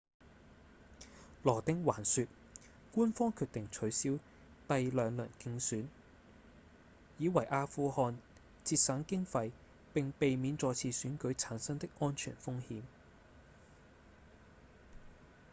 羅汀還說官方決定取消第兩輪決選以為阿富汗節省經費並避免再次選舉產生的安全風險